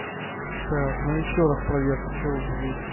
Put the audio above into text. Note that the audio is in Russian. так ну ещё раз проверка что будет